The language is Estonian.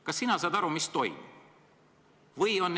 Kas sina saad aru, mis toimub?